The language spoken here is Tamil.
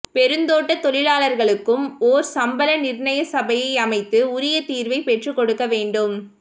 பெருந்தோட்ட தொழிலாளர்களுக்கும் ஒர் சம்பள நிர்ணய சபையை அமைத்து உரிய தீர்வை பெற்றுக் கொடுக்க வேண்டும்